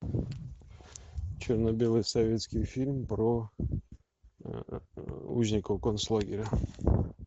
черно белый советский фильм про узников концлагеря